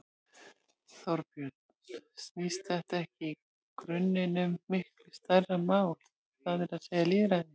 Þorbjörn: Snýst þetta ekki í grunninn um miklu stærra mál, það er að segja lýðræði?